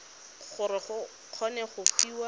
gore o kgone go fiwa